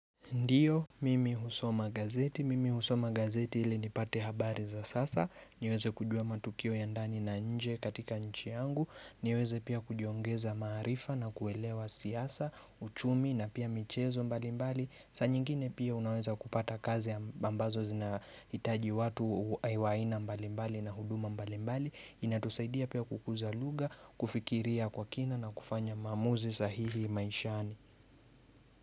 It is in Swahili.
Ndiyo, Mimi husoma gazeti. Mimi husoma gazeti ili nipate habari za sasa. Niweze kujua matukio ya ndani na nje katika nchi yangu. Niweze pia kujiongeza maarifa na kuelewa siasa, uchumi na pia michezo mbalimbali. Saa nyingine pia unaweza kupata kazi ya ambazo zinahitaji watu wa aina mbalimbali na huduma mbalimbali. Inatusaidia pia kukuza lugha, kufikiria kwa kina na kufanya maamuzi sahihi maishani.